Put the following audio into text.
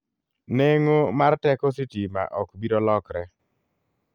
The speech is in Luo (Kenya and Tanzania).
Neng'o mar teko sitima ok biro lokre.